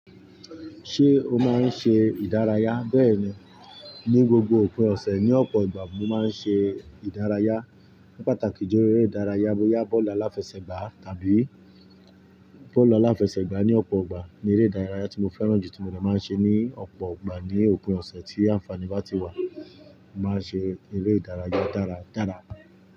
Ṣé o máa ń ṣe ìdárayá? Bẹ́ẹ̀ni, ní gbogbo òpin ọ̀sẹ̀ ní ọ̀pọ̀ ìgbà mo máa ń ṣe ìdárayá. Pátákì jẹ́ eré ìdárayá bóyá bọ́ọ̀lù aláfẹsẹ̀gbá tàbí bọ́ọ̀lù aláfẹsẹ̀gbá ní ọ̀pọ̀ ìgbà ni eré ìdárayá tí mo fẹ́ràn jù tí mo lè máa ń ṣe ní ọ̀pọ̀ ìgbà ní òpin ọ̀sẹ̀ tí àǹfàní bá ti wà. Mo máa ń ṣe eré ìdárayá dára dára.